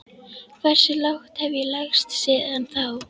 Hversu lágt hef ég lagst síðan þá?